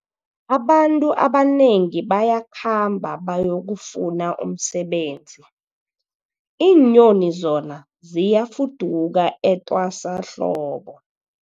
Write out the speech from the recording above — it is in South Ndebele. Abantu abanengi bayakhamba bayokufuna umsebenzi, iinyoni zona ziyafuduka etwasahlobo.